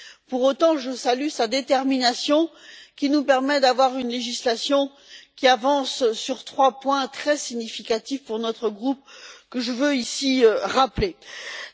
Pour autant, je salue sa détermination, qui nous permet d'avoir une législation qui avance sur trois points très significatifs pour notre groupe, que je veux rappeler ici.